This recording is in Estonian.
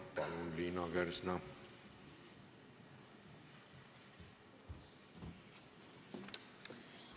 Palun, Liina Kersna!